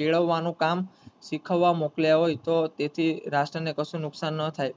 કેળવાનું કામ શીખવા મોકલીયા હોય તો તેથી રાષ્ટ્રં ને કશું નુકસાન ના થઈ